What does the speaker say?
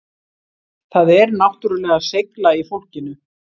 Það er náttúrulega seigla í fólkinu